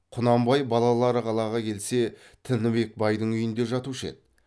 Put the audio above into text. құнанбай балалары қалаға келсе тінібек байдың үйінде жатушы еді